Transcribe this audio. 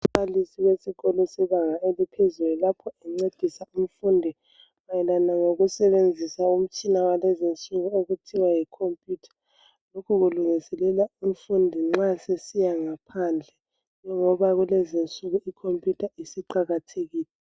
Umbalisi wesikolo sebanga eliphezulu lapho encedisa umfundi mayelana lokusebenzisa umtshina walezinsuku okuthiwa yi computer lokhu kulungiselela umfundi nxa sesiya ngaphandle ngoba kulezinsuku i computer isiqakathekile .